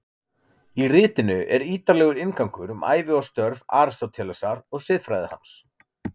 Í ritinu er ítarlegur inngangur um ævi og störf Aristótelesar og siðfræði hans.